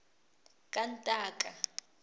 kantaka